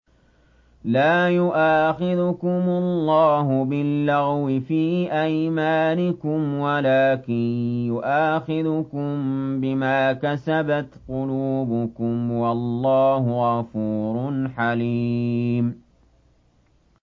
لَّا يُؤَاخِذُكُمُ اللَّهُ بِاللَّغْوِ فِي أَيْمَانِكُمْ وَلَٰكِن يُؤَاخِذُكُم بِمَا كَسَبَتْ قُلُوبُكُمْ ۗ وَاللَّهُ غَفُورٌ حَلِيمٌ